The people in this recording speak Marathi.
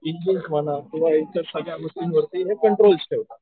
इंजिन म्हणा किंवा यांच्या सगळ्या गोष्टींवरती हे कंट्रोल ठेवतात.